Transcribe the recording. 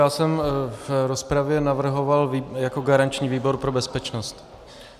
Já jsem v rozpravě navrhoval jako garanční výbor pro bezpečnost.